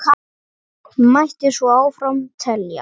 Mætti svo áfram telja.